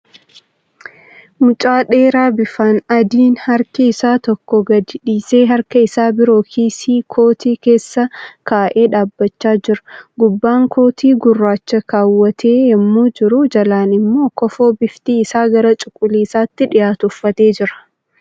Mucaa dheeraa bifaan adiin harka isaa tokko gadi dhiisee harka isaa biroo kiisii kootii isaa keessa kaa'ee dhaabbachaa jira. Gubbaan kootii gurraachaa keewwatee yemmuu jiru jalaan immoi kofoo bifti isaa gara cuquliisatti dhiyaatu uffatee jira.